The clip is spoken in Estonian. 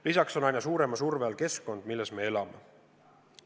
Lisaks on aina suurema surve all keskkond, milles me elame.